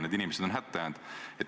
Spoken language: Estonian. Need inimesed on hätta jäänud.